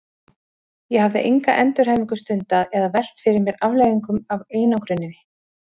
Ég hafði enga endurhæfingu stundað eða velt fyrir mér afleiðingum af einangruninni.